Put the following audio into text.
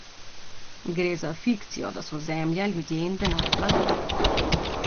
Gre za fikcijo, da so zemlja, ljudje in denar blago.